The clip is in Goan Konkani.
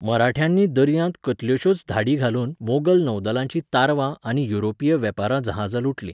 मराठ्यांनी दर्यांत कितल्योशोच धाडी घालून मोगल नौदलाचीं तारवां आनी युरोपीय वेपारी जहाजां लुटलीं.